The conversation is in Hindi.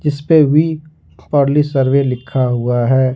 इस पर वी प्राउडली सर्वे लिखा हुआ है।